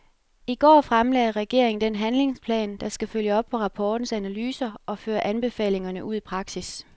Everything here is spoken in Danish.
I går fremlagde regeringen den handlingsplan, der skal følge op på rapportens analyser og føre anbefalingerne ud i praksis.